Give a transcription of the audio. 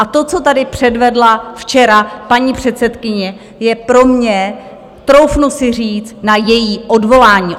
A to, co tady předvedla včera paní předsedkyně, je pro mě, troufnu si říct, na její odvolání.